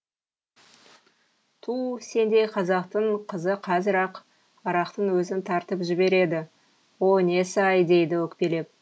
туу сендей қазақтың қызы қазір ақ арақтың өзін тартып жібереді о несі ай дейді өкпелеп